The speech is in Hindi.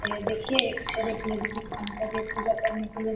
ए देखिए एक पूजा करने के लिए --